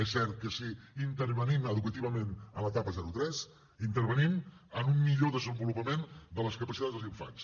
és cert que si intervenim educativament en l’etapa zero tres intervenim en un millor desenvolupament de les capacitats dels infants